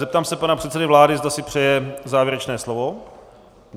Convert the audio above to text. Zeptám se pana předsedy vlády, zda si přeje závěrečné slovo.